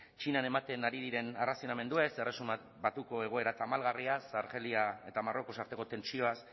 txinan ematen ari diren errazionamenduez erresuma batuko egoera tamalgarriaz argelia eta marruecos arteko tentsioaz